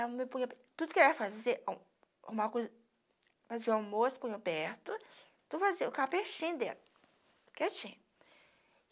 me punha para, tudo que ela fazia, arrumava a cozi, fazia o almoço, punha perto, tudo fazia eu ficava pertinho dela, quietinha.